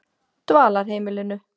Dvalarheimilinu